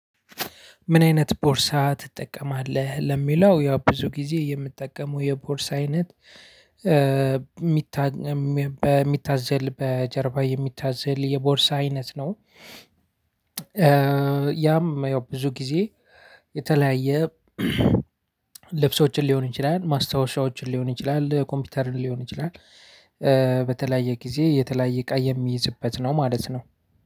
ምን አይነት ቦርሳ ትጠቀማለህ? ለሚለው ያው ብዙ ጊዜ የምጠቀመው የቦርሳ አይነት በሚታዘል በጀርባ የሚታዘል የቦርሳ አይነት ነው። ያም ያው ብዙ ጊዜ የተለያየ ልብሶችን ሊሆን ይችላል። ማስታወሻዎችን ሊሆን ይችላል። ኮምፒውተርን ሊሆን ይችላል። በተለያየ ጊዜ የተለያየ እቃ የሚይዝበት ነው ማለት ነው።